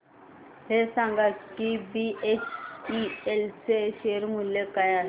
हे सांगा की बीएचईएल चे शेअर मूल्य काय आहे